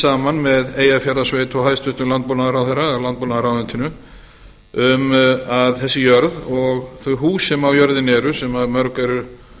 saman með eyjafjarðarsveit og hæstvirtur landbúnaðarráðherra eða landbúnaðarráðuneytinu um að þessi jörð og þau hús sem á jörðinni eru sem mörg eru